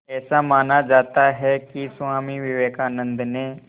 ऐसा माना जाता है कि स्वामी विवेकानंद ने